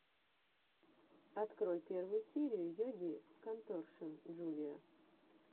открой первую серию йоги конторшен джулиа